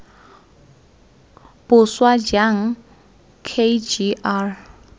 boswa jang k g r